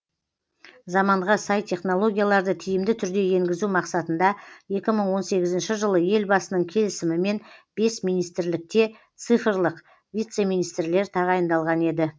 заманға сай технологияларды тиімді түрде енгізу мақсатында екі мың он сегізінші жылы елбасының келісімімен бес министрлікте цифрлық вице министрлер тағайындалған еді